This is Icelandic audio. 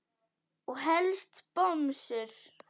Og helst bomsur.